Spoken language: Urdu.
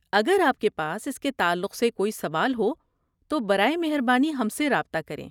اگر آپ کے پاس اس کے تعلق سے کوئی سوال ہو تو برائے مہربانی ہم سے رابطہ کریں۔